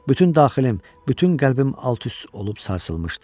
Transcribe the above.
Bütün daxilim, bütün qəlbim alt-üst olub sarsılmışdı.